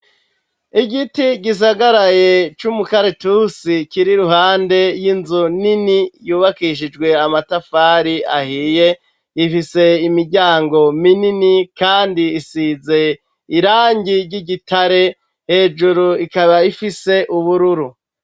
Igiti gisagaraye c'umukaritusi? kiri ruhande y'inzu nini yubakishijwe amatafari ahiye, ifise imiryango minini kandi isize irangi ry'igitare hejuru ikaba ifise ubururu.